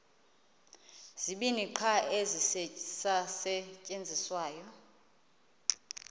zibini qha ezisasetyenziswayo